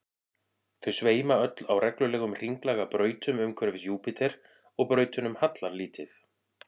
þau sveima öll á reglulegum hringlaga brautum umhverfis júpíter og brautunum hallar lítið